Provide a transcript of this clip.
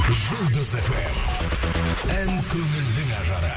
жұлдыз фм ән көңілдің ажары